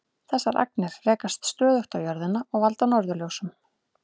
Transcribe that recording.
Þessar agnir rekast stöðugt á jörðina og valda norðurljósum.